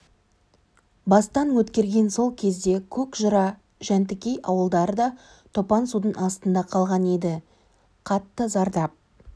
бастан өткерген сол кезде көкжыра жәнтікей ауылдары да топан судың астында қалған еді қатты зардап